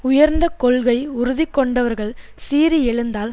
உயர்ந்த கொள்கை உறுதி கொண்டவர்கள் சீறி எழுந்தால்